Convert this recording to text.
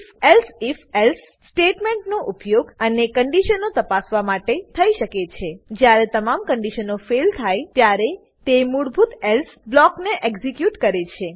if elsif else સ્ટેટમેંટનો ઉપયોગ અનેક કંડીશનો તપાસવા માટે થઇ શકે છે અને જ્યારે તમામ કંડીશનો ફેઇલ ફેઈલ થાય ત્યારે તે મૂળભૂત એલ્સે એલ્સ બ્લોકને એક્ઝીક્યુટ કરે છે